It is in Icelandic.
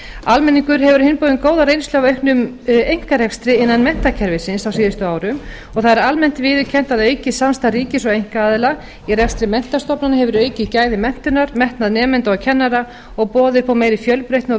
almenningur hefur á hinn bóginn góða reynslu af auknum einkarekstri innan menntakerfisins á síðustu árum og það er almennt viðurkennt að aukið samstarf ríkis og einkaaðila í rekstri menntastofnana hefur aukið gæði menntunar metnað nemenda og kennara og boðið upp á meiri fjölbreytni og